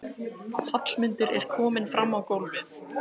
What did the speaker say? Hallmundur er kominn fram á gólfið.